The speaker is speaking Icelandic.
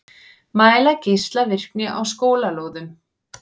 Mæla geislavirkni á skólalóðum